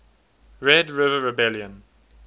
red river rebellion